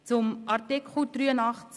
Zu Artikel 83 Absatz 1